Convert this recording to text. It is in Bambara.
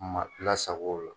Mabila sago la